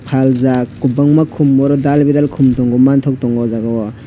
faljaak kwbangma khum obo dai bedal khum rok manthogo aw jaaga o.